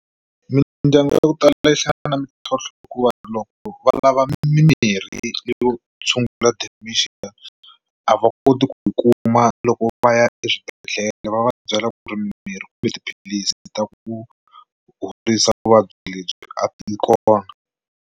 Mindyangu ya ku tala yi hlangana mintlhontlho hikuva loko va lava mimirhi yo tshungula dementia a va koti ku yi kuma loko va ya eswibedhlele va va byela ku ri mimirhi kumbe tiphilisi ta ku horisa vuvabyi lebyi a yi kona.